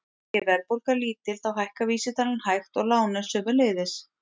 Sé verðbólga lítil þá hækkar vísitalan hægt og lánin sömuleiðis.